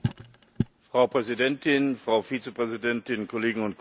Frau Präsidentin, Frau Vizepräsidentin, Kolleginnen und Kollegen!